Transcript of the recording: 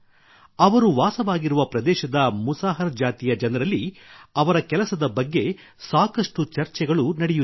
ಅವರು ವಾಸವಾಗಿರುವ ಪ್ರದೇಶದ ಮುಸಾಹರ್ ಜಾತಿಯ ಜನರಲ್ಲಿ ಅವರ ಕೆಲಸದ ಬಗ್ಗೆ ಸಾಕಷ್ಟು ಚರ್ಚೆಗಳು ನಡೆಯುತ್ತಿವೆ